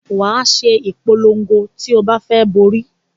Wàá ṣe ìpolon̄go ti o bá fẹ borí